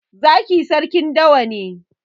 Zaki sarki dawa ne